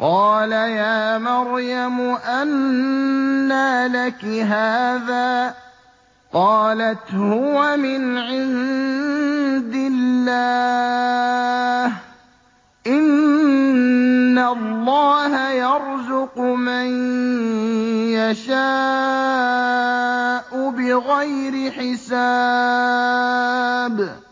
قَالَ يَا مَرْيَمُ أَنَّىٰ لَكِ هَٰذَا ۖ قَالَتْ هُوَ مِنْ عِندِ اللَّهِ ۖ إِنَّ اللَّهَ يَرْزُقُ مَن يَشَاءُ بِغَيْرِ حِسَابٍ